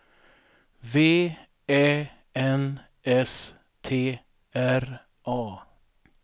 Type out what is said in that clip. V Ä N S T R A